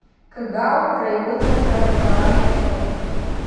кгау краевой центр образования фото